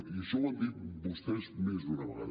i això ho han dit vostès més d’una vegada